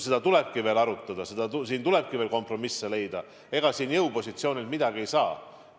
Seda tulebki veel arutada, siin tulebki veel kompromisse leida, ega siin jõupositsioonilt midagi teha ei saa.